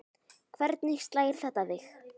Hvernig slær þetta þig?